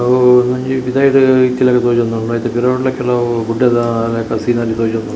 ಅವು ಒಂಜಿ ಪಿದಾಯಿಡ್‌ ಇತ್ತಿಲೆಕ್ಕ ತೋಜೋಂದುಂಡು ಐತೆ ಪಿರಾವುಡುಲ ಕೆಲವು ಗುಡ್ಡೆದ ಲೆಕ್ಕ ಸೀನರಿ ತೋಜೋಂದುಂಡು.